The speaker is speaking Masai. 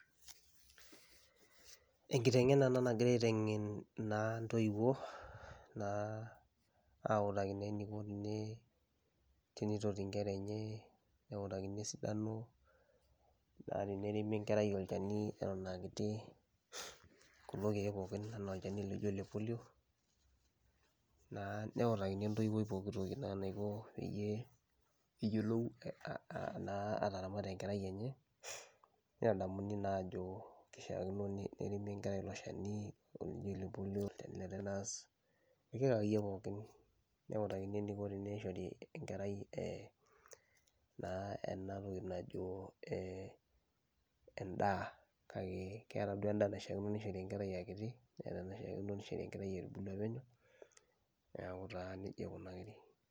Enkiteng'ena ena nagirai aiteng'en naa intoiwuo naa autaki naa eniko tene tenitoti inkera enye, neutakini esidano naa teneremi enkerai olchani eton aa kiti kulo keek pookin enaa olchani loijo ole polio naa neutakini entoiwoi pooki toki naa naiko peyie eyiolou aa aa naa ataramata enkerai enye, nitadamuni naa aajo kishaakino neremi enkerai ilo shani olijo ole polio, ole tetanus, irkeek akaeyie pookin neutakini eniko teneishori enkerai ee naa ena toki najo ee endaa kake keeta duo endaa naishaakino nishori enkerai aa kiti, neeta enaishaakino nishori enkerai etubulua penyo, neeku taa neija ikunari.